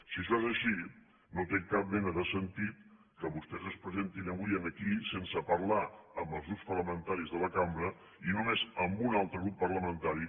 si això és així no té cap mena de sentit que vostès es presentin avui aquí sense parlar amb els grups parlamentaris de la cambra i només amb un altre grup parlamentari